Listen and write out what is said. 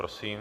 Prosím.